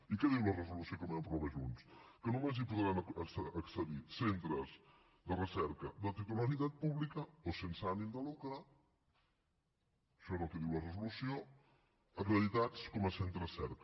i què diu la resolució que vam aprovar junts que només hi podran accedir centres de recerca de titularitat pública o sense ànim de lucre això és el que diu la resolució acreditats com a centres cerca